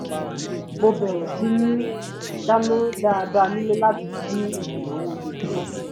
mo bẹ̀rẹ̀ síní dáná dáadáa nílé láti dín ìnáwó ojúmọ́ kù